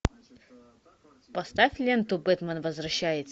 поставь ленту бэтмен возвращается